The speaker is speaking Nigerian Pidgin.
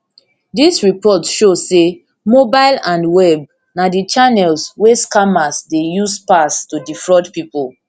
dis report show say mobile and web na di channels wey scammers dey use pass to defraud pipo